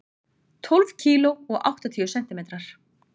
Tólf kíló og áttatíu sentimetrar.